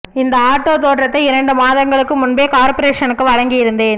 இந்த ஆட்டோ தோற்றத்தை இரண்டு மாதங்களுக்கு முன்பே கார்ப்பரேஷனுக்கு வழங்கி இருந்தேன்